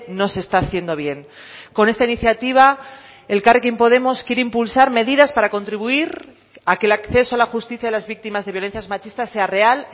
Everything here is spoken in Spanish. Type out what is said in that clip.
no se está haciendo bien con esta iniciativa elkarrekin podemos quiere impulsar medidas para contribuir a que el acceso a la justicia de las víctimas de violencias machistas sea real